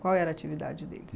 Qual era a atividade dele?